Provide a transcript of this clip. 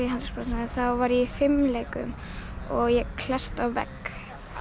handleggsbrotnaði þá var ég í fimleikum og ég klessti á vegg